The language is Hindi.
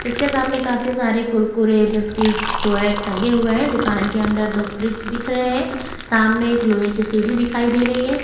इसके सामने काफी सारे कुरकुर बिस्किट्स जो है टंगे हुए हैं दुकान के अंदर दो फ्रिज दिख रहे हैं सामने एक लोहे की सीढ़ी दिखाई दे रही है ।